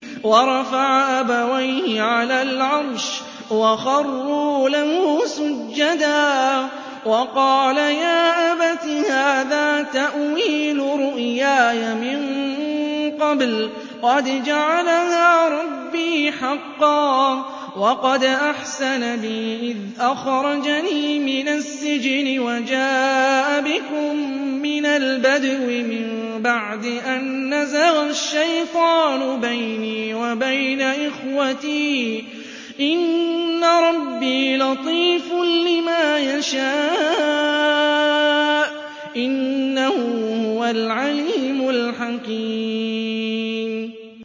وَرَفَعَ أَبَوَيْهِ عَلَى الْعَرْشِ وَخَرُّوا لَهُ سُجَّدًا ۖ وَقَالَ يَا أَبَتِ هَٰذَا تَأْوِيلُ رُؤْيَايَ مِن قَبْلُ قَدْ جَعَلَهَا رَبِّي حَقًّا ۖ وَقَدْ أَحْسَنَ بِي إِذْ أَخْرَجَنِي مِنَ السِّجْنِ وَجَاءَ بِكُم مِّنَ الْبَدْوِ مِن بَعْدِ أَن نَّزَغَ الشَّيْطَانُ بَيْنِي وَبَيْنَ إِخْوَتِي ۚ إِنَّ رَبِّي لَطِيفٌ لِّمَا يَشَاءُ ۚ إِنَّهُ هُوَ الْعَلِيمُ الْحَكِيمُ